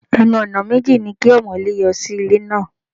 Ẹnu-ọ̀nà méjì ni kí ọmọ̀lé yọ sí ilé náà.